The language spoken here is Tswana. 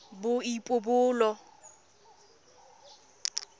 boipobolo